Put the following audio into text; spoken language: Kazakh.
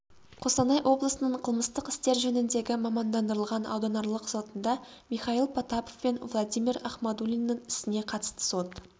қостанай облысының қылмыстық істер жөніндегі мамандандырылған ауданаралық сотында михаил потапов пен владимир ахмадулиннің ісіне қатысты сот